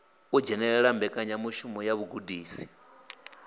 u dzhenela mbekanyamushumo ya vhugudisi